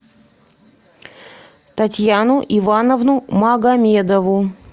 татьяну ивановну магомедову